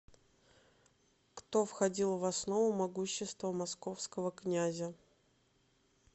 кто входил в основу могущества московского князя